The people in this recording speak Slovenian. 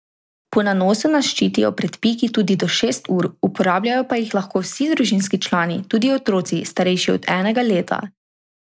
Po nanosu nas ščitijo pred piki tudi do šest ur, uporabljajo pa jih lahko vsi družinski člani, tudi otroci, starejši od enega leta.